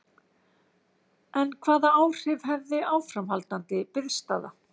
En hvaða áhrif hefði áframhaldandi biðstaða?